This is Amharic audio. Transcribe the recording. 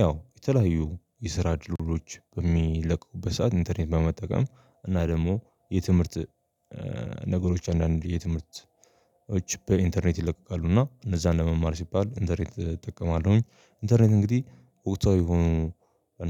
ያው የተለያዩ የስራ ድልድሎች በሚለቀቁበት ሰዓት ኢንተርኔት በመጠቀም እና ደግሞ የትምህርት ነገሮች አንዳንድ የትምህርቶች በኢንተርኔት ይለቀቃሉ እና እነዛ ለመማር ሲባል ኢንተርኔት እጠቀማለሁኝ። ኢንተርኔት እንግዲህ ወቅታዊ የሆኑ